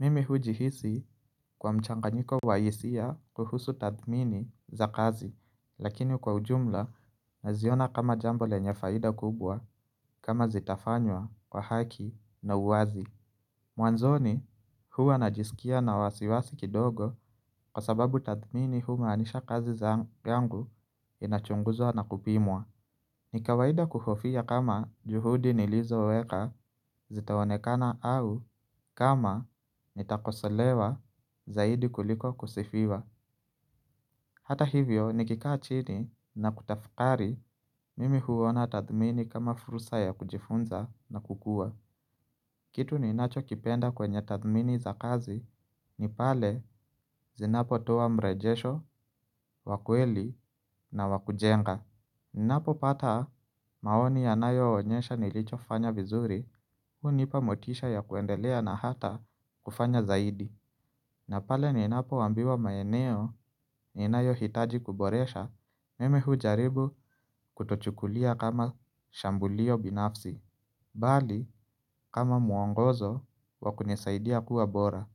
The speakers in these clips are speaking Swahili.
Mimi hujihisi kwa mchanganyiko wa hisia kuhusu tathmini za kazi lakini kwa ujumla naziona kama jambo lenye faida kubwa kama zitafanywa kwa haki na uwazi. Mwanzoni huwa najisikia na wasiwasi kidogo kwa sababu tathmini huwa anisha kazi za angu inachunguzwa na kupimwa. Ni kawaida kuhofia kama juhudi nilizo weka zitaonekana au kama nitakosolewa zaidi kuliko kusifiwa. Hata hivyo nikikaa chini na kutafukari mimi huona tathmini kama fursa ya kujifunza na kukua. Kitu ninacho kipenda kwenye tathmini za kazi ni pale zinapo toa mrejesho, wakweli na wakujenga. Ninapo pata maoni yanayo onyesha nilicho fanya vizuri, hunipa motisha ya kuendelea na hata kufanya zaidi. Napale ninapo ambiwa maeneo ninayo hitaji kuboresha, mim huujaribu kutochukulia kama shambulio binafsi, bali kama muongozo wakunisaidia kuwa bora.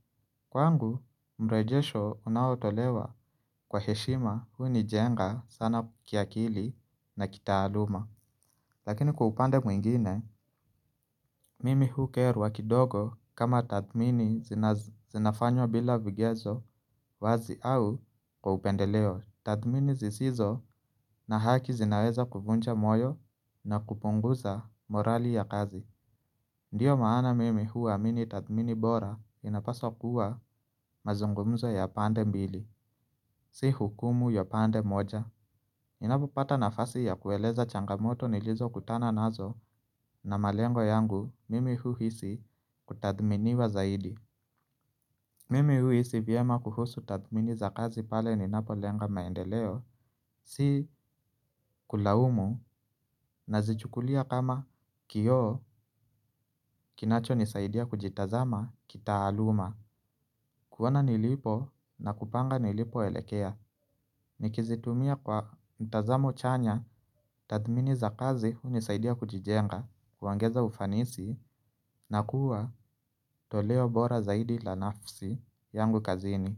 Kwangu mrejesho unaotolewa kwa heshima hunijenga sana kiakili na kitaaluma. Lakini kwa upande mwingine, mimi hukerwa kidogo kama tathmini zinafanywa bila vigezo wazi au kwa upendeleo. Tathmini zisizo na haki zinaweza kuvuncha moyo na kupunguza morali ya kazi. Ndiyo maana mimi huamini tathmini bora inapasa kuwa mazungumzo ya pande mbili. Si hukumu ya pande moja. Ninapopata nafasi ya kueleza changamoto nilizo kutana nazo na malengo yangu mimi huhisi kutadhminiwa zaidi. Mimi huisi vyema kuhusu tathmini za kazi pale ninapolenga maendeleo. Si kulaumu nazichukulia kama kioo kinacho nisaidia kujitazama kitaaluma. Kuona nilipo na kupanga nilipo elekea. Nikizitumia kwa mtazamo chanya, tathmini za kazi hunisaidia kujijenga, kuangeza ufanisi na kuwa toleo bora zaidi la nafsi yangu kazini.